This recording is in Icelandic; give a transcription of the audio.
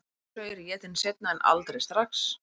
Stundum er þessi saur étinn seinna en aldrei strax.